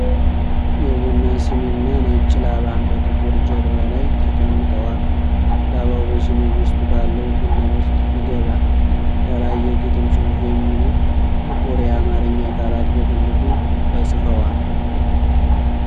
የቡና ስኒና ነጭ ላባ በጥቁር ጀርባ ላይ ተቀምጠዋል። ላባው በስኒው ውስጥ ባለው ቡና ውስጥ ይገባል። ከላይ “የግጥም ጽሑፍ” የሚሉ ጥቁር የአማርኛ ቃላት በትልቁ ተጽፈዋል።